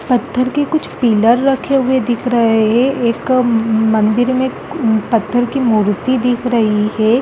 पत्थर के कुछ पिलर रखे हुए दिख रहे हैं एक मंदिर में पत्थर की मूर्ति दिख रही है ।